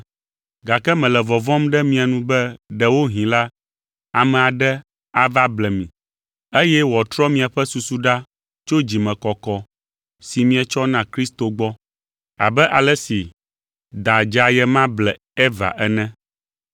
Gake mele vɔvɔ̃m ɖe mia nu be ɖewohĩ la, ame aɖe ava ble mi, eye wòatrɔ miaƒe susu ɖa tso dzimekɔkɔ si mietsɔ na Kristo gbɔ, abe ale si da dzeaye ma ble Eva ene.